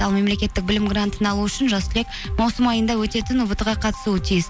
ал мемлекеттік білім грантын алу үшін жас түлек маусым айында өтетін ұбт ға қатысуы тиіс